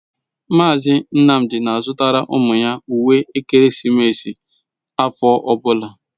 Mazị Nnamdị na-azụtara ụmụ ya uwe ekeresimesi afọ ọbụla.